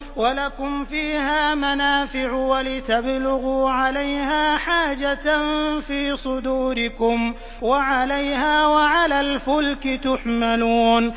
وَلَكُمْ فِيهَا مَنَافِعُ وَلِتَبْلُغُوا عَلَيْهَا حَاجَةً فِي صُدُورِكُمْ وَعَلَيْهَا وَعَلَى الْفُلْكِ تُحْمَلُونَ